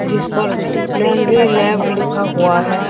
जिस पर laundry lab लिखा हुआ है।